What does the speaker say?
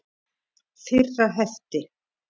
Fyrra hefti.